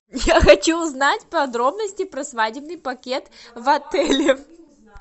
я хочу узнать подробности про свадебный пакет в отеле